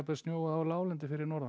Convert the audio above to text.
snjóað á láglendi fyrir norðan